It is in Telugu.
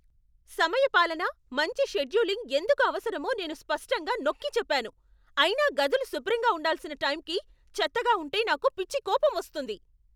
సమయపాలన, మంచి షెడ్యూలింగ్ ఎందుకు అవసరమో నేను స్పష్టంగా నొక్కిచెప్పాను, అయినా గదులు శుభ్రంగా ఉండాల్సిన టైంకి చెత్తగా ఉంటె నాకు పిచ్చి కోపం వస్తుంది.